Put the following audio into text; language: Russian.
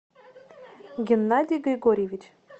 геннадий григорьевич